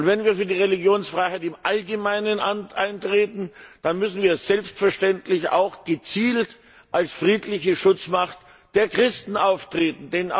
Und wenn wir für die Religionsfreiheit im Allgemeinen eintreten, dann müssen wir selbstverständlich auch gezielt als friedliche Schutzmacht der Christen auftreten.